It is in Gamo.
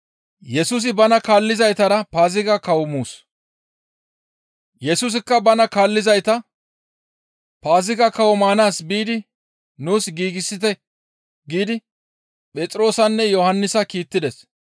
Yesusikka bana kaallizayta, «Paaziga kawo maanaas biidi nuus giigsite» giidi Phexroosanne Yohannisa kiittides.